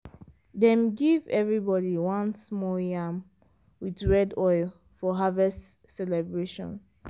dem give everybody one small yam with red oil for harvest celebration.